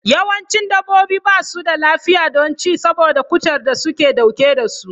Yawancin dabbobi ba su da lafiya don ci saboda cutar da suke dauke da su.